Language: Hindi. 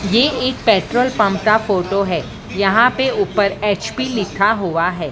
ये एक पेट्रोल पंप का फोटो है यहां पे ऊपर एच_पी लिखा हुआ है।